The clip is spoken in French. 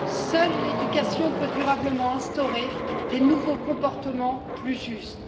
Seule l'éducation peut durablement instaurer des nouveaux comportements plus justes.